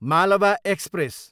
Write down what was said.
Malwa express